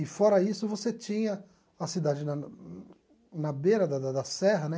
E fora isso, você tinha a cidade na na beira da da da Serra, né?